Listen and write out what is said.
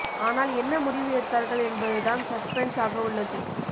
ஆனால் என்ன முடிவு எடுத்தார்கள் என்பது தான் சஸ்பென்ஸ் ஆக உள்ளது